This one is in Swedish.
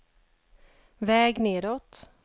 väg nedåt